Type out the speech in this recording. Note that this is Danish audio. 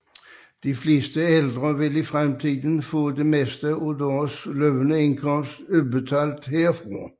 De fleste ældre vil i fremtiden få det meste af deres løbende indkomst udbetalt herfra